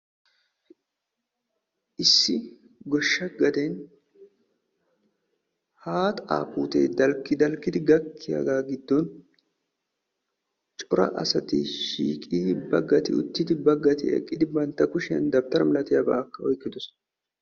issi goshsha gaden haaxaa puutee dalqi dalqidi gakkiyagaa giddon cora asati shiiqi uttidaageeti bagati utidi, bagati eqqidi bantta kushiyan dawutara malatiyaba oyqqidosona..